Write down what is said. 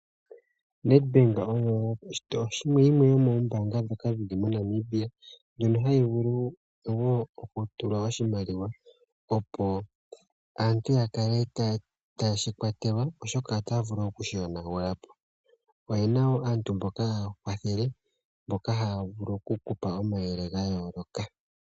Nedbank oyo yimwe yomoombaanga ndhoka dhi li moNamibia ndhono hadhi vulu wo okutulwa oshimaliwa opo aantu ya kale taye shi kwatelwa oshoka otaya vulu oku shi yonagula po , oye na wo aantu mboka haya kwathele , mboka haya vulu okupulwa omauyelele ga yooloka.